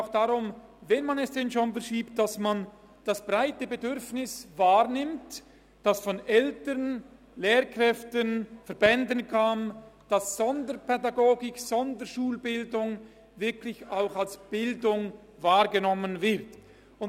Wenn man diesen schon verschiebt, dann soll man das breite Bedürfnis wahrnehmen, welches von Eltern, Lehrkräften und Verbänden geäussert wird, nämlich dass Sonderpädagogik und Sonderschulbildung eben wirklich als Bildung wahrgenommen werden.